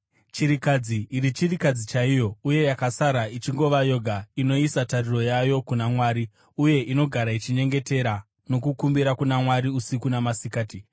Chirikadzi iri chirikadzi chaiyo uye yakasara ichingova yoga inoisa tariro yayo kuna Mwari uye inogara ichinyengetera nokukumbira kuna Mwari usiku namasikati.